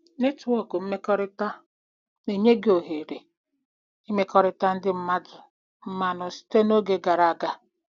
" Netwọk mmekọrịta na-enye gị ohere ị mmekọrịta ndị mmadụ mmanụ site na oge gara aga